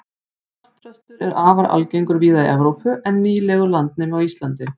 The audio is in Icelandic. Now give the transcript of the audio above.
svartþröstur er afar algengur víða í evrópu en nýlegur landnemi á íslandi